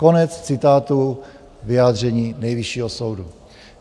Konec citátu vyjádření Nejvyššího soudu.